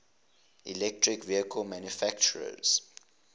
electric vehicle manufacturers